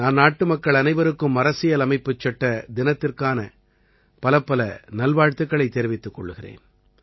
நான் நாட்டுமக்கள் அனைவருக்கும் அரசியலமைப்புச் சட்ட தினத்திற்கான பலப்பல நல்வாழ்த்துக்களைத் தெரிவித்துக் கொள்கிறேன்